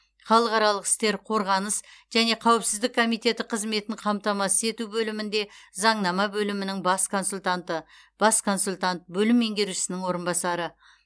халықаралық істер қорғаныс және қауіпсіздік комиеті қызметін қамтамасыз ету бөлімінде заңнама бөлімінің бас консультанты бас консультант бөлім меңгерушісінің орынбасары